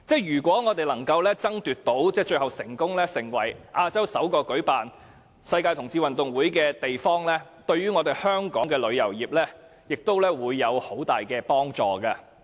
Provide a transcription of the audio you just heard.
如果我們最後能成為亞洲首個舉辦世界同志運動會的地方，對香港的旅遊業將有很大的幫助。